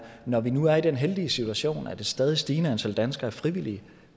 når vi nu er i den heldige situation at et stadigt stigende antal danskere frivilligt